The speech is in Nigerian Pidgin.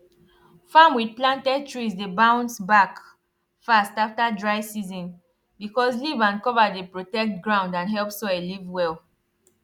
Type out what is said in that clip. farm with planted trees dey bounce back fast after dry season because leaf and cover dey protect ground and help soil live well